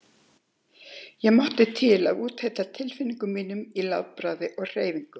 Ég mátti til að úthella tilfinningum mínum í látbragði og hreyfingum.